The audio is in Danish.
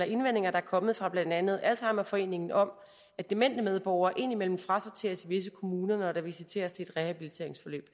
indvendinger der er kommet fra blandt andet alzheimerforeningen om at demente medborgere indimellem frasorteres i visse kommuner når der visiteres til et rehabiliteringsforløb